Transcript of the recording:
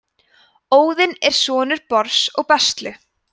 óðinn er sonur bors og bestlu